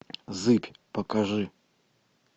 зыбь покажи